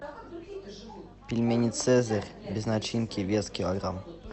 пельмени цезарь без начинки вес килограмм